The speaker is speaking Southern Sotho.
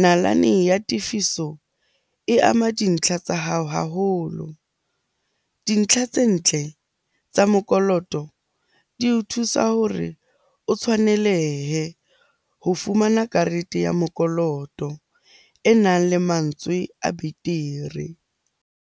Nalane ya tefiso e ama dintlha tsa hao haholo. Dintlha tse ntle tsa mokoloto di o thusa hore o tshwanelehe ho fumana karete ya mokoloto e nang le mantswe a betere.